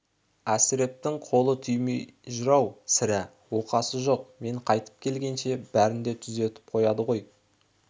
әсірептің қолы тимей жүр-ау сірә оқасы жоқ мен қайтып келгенше бәрін де түзетіп қояды ғой